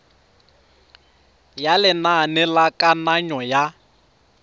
ya lenane la kananyo ya